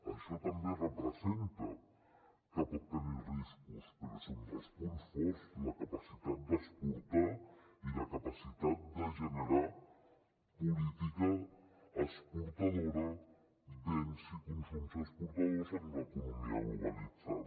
això també representa que pot tenir riscos però és un dels punts forts la capacitat d’exportar i la capacitat de generar política exportadora béns i consums exportadors en una economia globalitzada